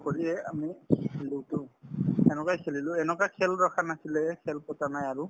সেইটো কৰিয়ে আমি খেলিছিলোতো সেনেকুৱাই খেলিলো এনেকুৱা খেল ৰখা নাছিলে খেল পতা নাই আৰু